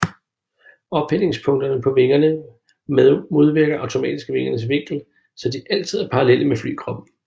Ophængningspunkterne på vingerne modvirker automatisk vingernes vinkel så de altid er parallelle med flykroppen